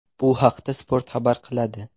Bu haqda Spot xabar qiladi .